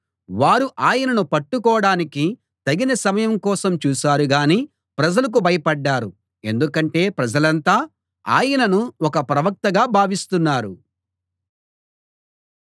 వారు ఆయనను పట్టుకోడానికి తగిన సమయం కోసం చూశారుగానీ ప్రజలకు భయపడ్దారు ఎందుకంటే ప్రజలంతా ఆయనను ఒక ప్రవక్తగా భావిస్తున్నారు